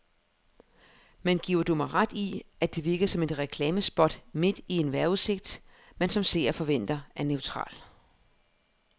Men giver du mig ret i, at det virkede som et reklamespot midt i en vejrudsigt, man som seer forventer er neutral.